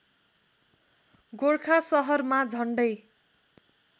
गोरखा सहरमा झन्डै